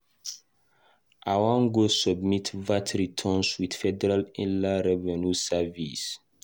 I wan go submit VAT returns with Federal Inland Revenue Service.